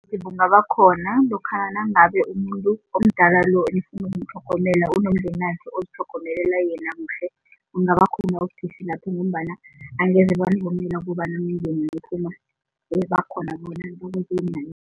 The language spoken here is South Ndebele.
Kungabakhona lokha nangabe umuntu omdala lo enifuna ukumtlhogomela unomdenakhe ozitlhogomelela yena kuhle, kungabakhona ubudisi lapho ngombana angeze banivumela ukobana ningene niphuma bakhona